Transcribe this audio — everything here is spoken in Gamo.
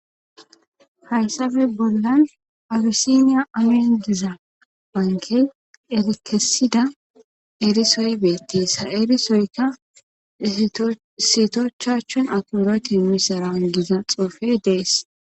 Hayssafe bollan awisiniya amin diza bankey elikesida eerisoy beettis ha erisoykka sitochachon aporoti misaraangiza xoofey dees.